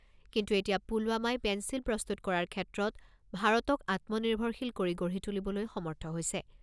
কিন্তু এতিয়া পুলৱামাই পেন্সিল প্ৰস্তুত কৰাৰ ক্ষেত্ৰত ভাৰতক আত্মনিৰ্ভৰশীল কৰি গঢ়ি তুলিবলৈ সমৰ্থ হৈছে।